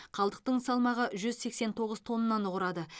қалдықтың салмағы жүз сексен тоғыз тоннаны құрады